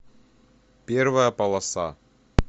первая полоса